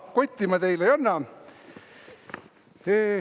Kotti ma teile ei anna.